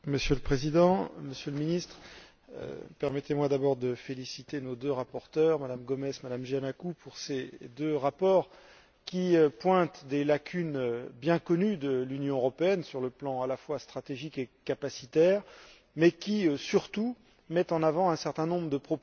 Monsieur le Président, Monsieur le Ministre, permettez moi d'abord de féliciter nos deux rapporteures, Mme Gomes et Mme Giannakou, pour ces deux rapports qui épinglent des lacunes bien connues de l'Union européenne sur le plan à la fois stratégique et capacitaire, mais qui, surtout, mettent en avant un certain nombre de